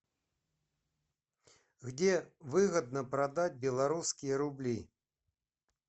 где выгодно продать белорусские рубли